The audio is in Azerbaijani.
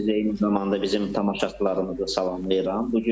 Mən də sizi eyni zamanda bizim tamaşaçılarımızı salamlayıram.